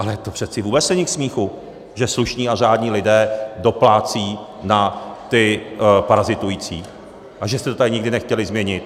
Ale to přece vůbec není k smíchu, že slušní a řádní lidé doplácí na ty parazitující a že jste to tady nikdy nechtěli změnit.